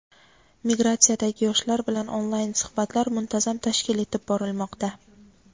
Migratsiyadagi yoshlar bilan onlayn suhbatlar muntazam tashkil etib borilmoqda.